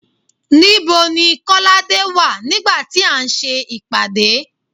Nibo ni kolade wà nígbà tí a ń ṣe ìpàdé